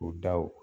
U daw